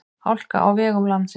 Hálka á vegum landsins